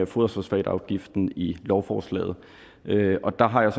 foderfosfatafgiften i lovforslaget og der har jeg